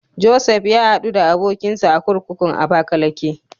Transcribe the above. Josef ya haɗu da abokinsa a kurkukun Abakalake.